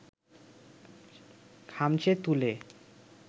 খামচে তুলে